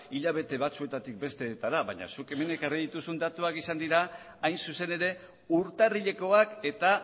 hilabete batzuetatik besteetara baina zuk hemen ekarri dituzun datuak izan dira hain zuzen ere urtarrilekoak eta